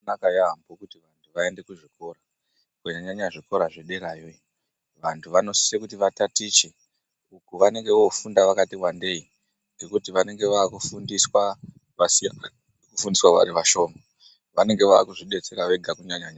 Zvakanaka yaampho kuti vantu vaende kuzvikora, kunyanya-nyanya zvikora zvedeyayo iyo. Vantu vanosise kuti vatatiche. Uku vanenge voofunda vakati wandei, ngekuti vanenge vaakufundiswa zvakasiyana, kufundiswa vari vashoma. Vanenge vaakuzvidetsera vega kunyanyanya.